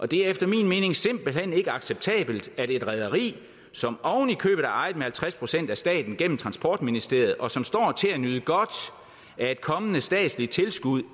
det er efter min mening simpelt hen ikke acceptabelt at et rederi som oven i købet er ejet med halvtreds procent af staten gennem transportministeriet og som står til at nyde godt af et kommende statsligt tilskud